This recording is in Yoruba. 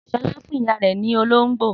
Sọlá fún ìyá rẹ̀ ní olóńgbò.